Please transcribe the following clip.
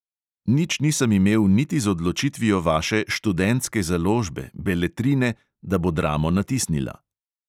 Nič nisem imel niti z odločitvijo vaše študentske založbe, beletrine, da bo dramo natisnila.